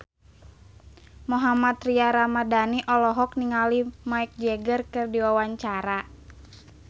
Mohammad Tria Ramadhani olohok ningali Mick Jagger keur diwawancara